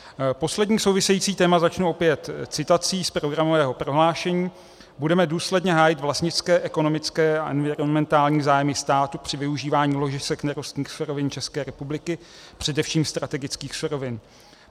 Poslední související téma začnu opět citací z programového prohlášení: "Budeme důsledně hájit vlastnické, ekonomické a environmentální zájmy státu při využívání ložisek nerostných surovin České republiky, především strategických surovin.